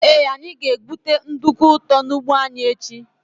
Ee anyị ga-egwute nduku ụtọ n' ụgbọ anyị echi.